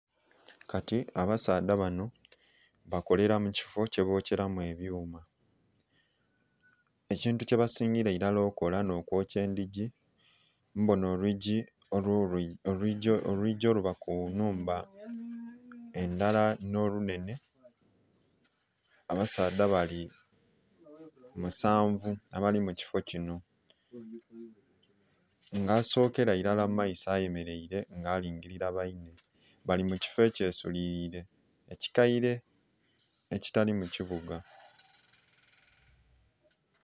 Kati abasaadha bano bakolera mu kifo kyebokyeramu ebyuma. Ekintu kyebasingira ilara okola n'okwokya endhigi. Mbona olwigi oluba ku nnhumba endala, n'olunhenhe. Abasaadha bali musanvu abali mu kifo kino, nga asokelailara mu maiso ayemeleire nga alingilira bainhe. Bali mu kifo ekyesuliliire ekikaire, ekitali mu kibuga